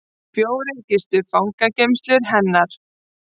Fjórir gistu fangageymslur hennar